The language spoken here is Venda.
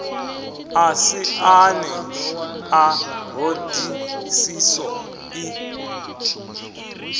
ḓa siani ḽa ṱhodisiso i